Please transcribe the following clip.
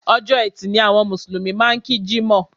Ọjọ́ ẹtì ni àwọn Mùsùlùmí máa ń kí Jímọ̀